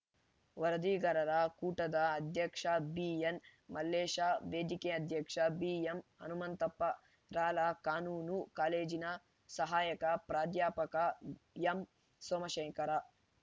ವರದಿಗಾರರ ಕೂಟದ ಅಧ್ಯಕ್ಷ ಬಿಎನ್‌ಮಲ್ಲೇಶ ವೇದಿಕೆ ಅಧ್ಯಕ್ಷ ಬಿಎಂಹನುಮಂತಪ್ಪ ರಾಲ ಕಾನೂನು ಕಾಲೇಜಿನ ಸಹಾಯಕ ಪ್ರಾಧ್ಯಾಪಕ ಎಂಸೋಮಶೇಖರ